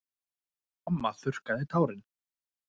Mamma þurrkaði tárin.